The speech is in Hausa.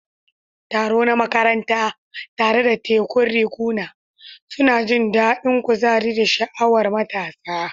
Taro na makaranta, tare da tekun riguna, suna jin daɗin kuzari da sha'awar matasa.